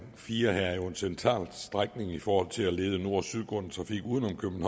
fire er jo en central strækning i forhold til at lede nord og sydgående trafik uden om